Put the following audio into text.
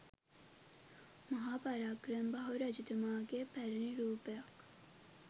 මහා පරාක්‍රමබාහු රජතුමාගේ පැරැණි රූපයක්